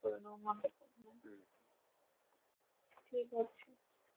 করে নেবো মা কে হম ঠিক আছে